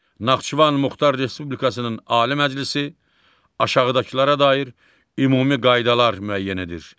Naxçıvan Muxtar Respublikasının Ali Məclisi aşağıdakılara dair ümumi qaydalar müəyyən edir.